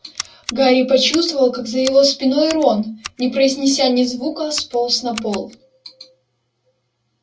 гарри почувствовал как за его спиной рон не произнеся ни звука сполз на пол